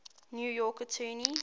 new york attorney